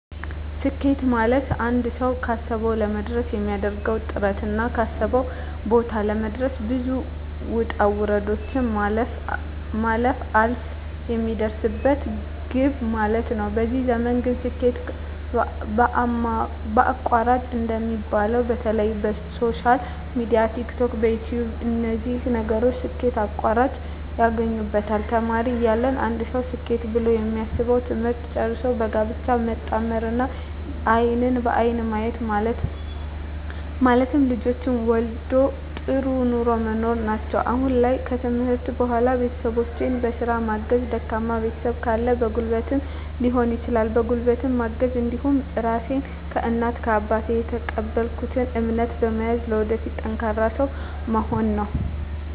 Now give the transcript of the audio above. ስኬት ማለትአንድ ሰዉ ካሰዉ ለመድረስ የሚያደርገዉ ጥረትና ካሰበበት ቦታ ለመድረስ ብዙ ዉጣ ዉረዶችን ማለፍ አልፍ የሚደርስበት ግብ ማለት ነዉ በዚህ ዘመን ግን ስኬት በአቋራጭ እንደሚባለዉ በተለይ በሶሻል ሚድያ በቲክቶክ በዩትዩብ በነዚህ ነገሮች ስኬት በአቋራጭ ያገኙበታል ተማሪ እያለ አንድ ሰዉ ስኬት ብሎ የሚያስበዉ ትምህርትን ጨርሶ በጋብቻ መጣመርና አይንን በአይን ማየት ማለትም ልጆችን መዉለድ ጥሩ ኑሮ መኖር ናቸዉ አሁን ላይ ከትምህርት በኋላ ቤተሰቦቸን በስራ ማገዝ ደካማ ቤተሰብ ካለ በጉልበትም ሊሆን ይችላል በጉልበት ማገዝ እንዲሁም ራሴን ከእናት ከአባት የተቀበልኩትን እምነት በመያዝ ለወደፊት ጠንካራ ሰዉ መሆን ነዉ